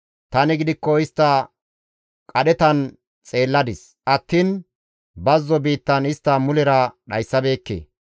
Tani gidikko istta qadhetan xeelladis attiin bazzo biittan istta mulera dhayssabeekke.